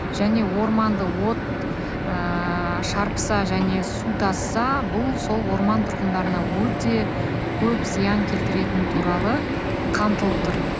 және орманды от ыыы шарпыса және су тасыса бұл сол орман тұрғындарына өте көп зиян келтіретіні туралы қамтылып тұр